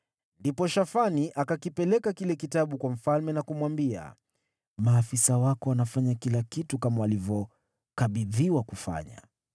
Kisha Shafani akakipeleka kile Kitabu kwa mfalme na kumwambia, “Maafisa wako wanafanya kila kitu kama walivyokabidhiwa kufanya.